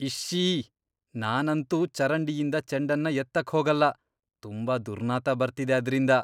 ಇಶ್ಶೀ.. ನಾನಂತೂ ಚರಂಡಿಯಿಂದ ಚೆಂಡನ್ನ ಎತ್ತಕ್ಹೋಗಲ್ಲ. ತುಂಬಾ ದುರ್ನಾತ ಬರ್ತಿದೆ ಅದ್ರಿಂದ.